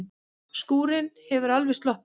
Skúrinn hefur alveg sloppið?